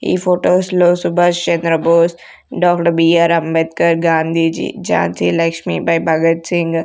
ఈ ఫొటోస్ లో Subhash Chandrabose doctor B R Ambedkar Gandhiji Jhansi Lakshmibai Bhagat Singh--